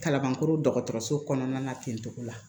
Kalabankɔrɔ dɔgɔtɔrɔso kɔnɔna ten cogo la